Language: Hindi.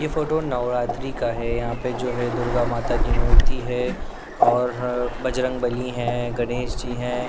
ये फोटो नवरात्रि का है यहाँ पर जो है दुर्गा माता की मूर्ति है और बजरंग बली है गणेश जी हैं।